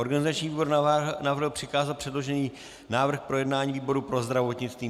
Organizační výbor navrhl přikázat předložený návrh k projednání výboru pro zdravotnictví.